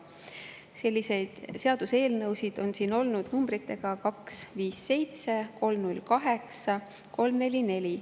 Selliseid seaduseelnõusid on siin olnud numbritega 257, 308, 344.